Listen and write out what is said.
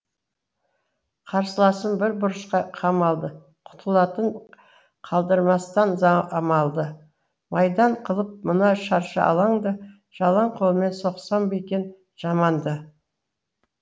қарсыласым бір бұрышқа қамалды құтылатын қалдырмастан амалды майдан қылып мына шаршы алаңды жалаң қолмен соқсам ба екен жаманды